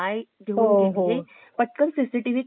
पटकन cctv camera ने लक्षात येते ग